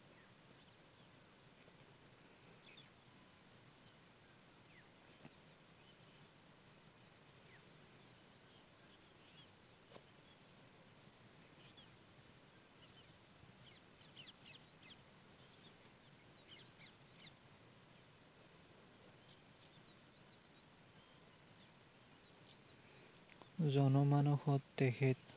জনমানষত তেখেত,